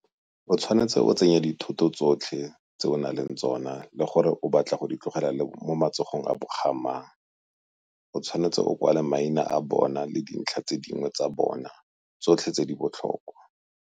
O tshwanetse o tsenye di thoto tsotlhe tse o nang le tsona le gore o batla go di tlogela mo matsogong a ga mang, o tshwanetse o kwale maina a bona le dintlha tse dingwe tsa bona tsotlhe tse di botlhokwa.